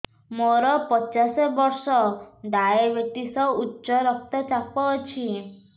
ମୋର ପଚାଶ ବର୍ଷ ଡାଏବେଟିସ ଉଚ୍ଚ ରକ୍ତ ଚାପ ଅଛି